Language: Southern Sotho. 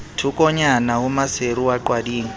thokonyana ho maseru wa qwading